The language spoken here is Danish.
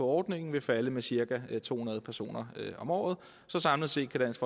ordningen vil falde med cirka to hundrede personer om året så samlet set kan dansk